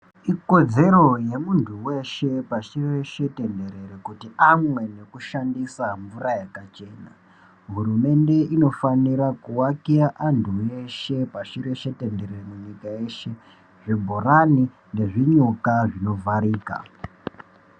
Ikodzero yemuntu veshe pashi reshe tenderere kuti amwe nekushandisa mvura yakachena. Hurumende inofanira kuakira antu ashe pashireshe tenderere munyika yeshe zvibhorani nezvinyuka zvinovharika.